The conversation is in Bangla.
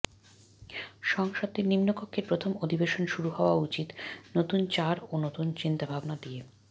সংসদের নিম্নকক্ষের প্রথম অধিবেশন শুরু হওয়া উচিত নতুন চাড় ও নতুন চিন্তাভাবনা দিয়ে